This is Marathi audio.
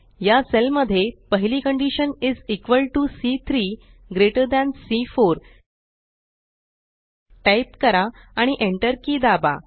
या सेल मध्ये पहिली कंडीशन इस इक्वॉल टीओ सी3 ग्रेटर थान सी4 टाइप करा आणि Enter की दाबा